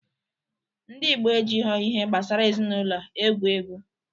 Ndị Ịgbo ejigho ihe gbasara ezinaụlọ egwu egwu